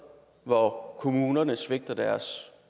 hvor kommunerne svigter deres